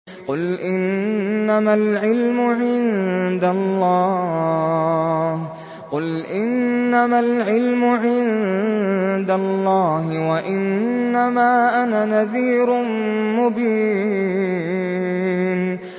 قُلْ إِنَّمَا الْعِلْمُ عِندَ اللَّهِ وَإِنَّمَا أَنَا نَذِيرٌ مُّبِينٌ